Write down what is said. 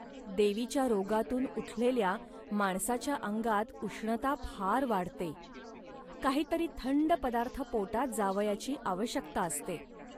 देवीच्या रोगातून उठलेल्या माणसाच्या अंगात उष्णता फार वाढते. काही तरी थंड पदार्थ पोटात जावयाची आवश्यकता असते